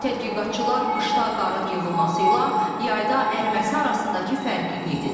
Tədqiqatçılar qışda qarın yığılması ilə yayda əriməsi arasındakı fərqi qeyd edirlər.